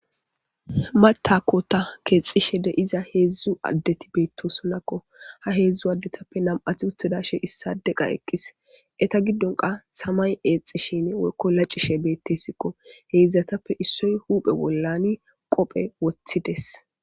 matakkota keexxishe de iza heedzdzu addeti beettosonakko ha heedzdzu addetappe nam7ath uthedashe issade qa eqqis eta giddonka samay eexxishin worko lacishe beettesikko heeidzdzatappe issoy huuphe bollani qophe wothides